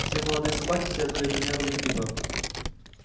все молодые собаки следовали примеру лип липа